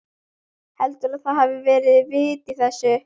Heldurðu að það hafi verið vit í þessu?